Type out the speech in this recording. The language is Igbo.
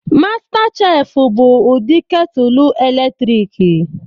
Mastas chef bụ ụdị ketulu eletrik